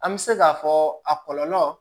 An bɛ se k'a fɔ a kɔlɔlɔ